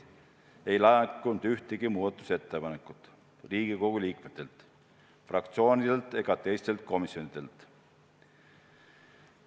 Ei laekunud ühtegi ettepanekut ei Riigikogu liikmetelt, fraktsioonidelt ega teistelt komisjonidelt.